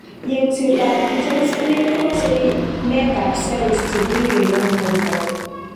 Yengset ap kicher spleen kopose meet ap cells che piriren en porto.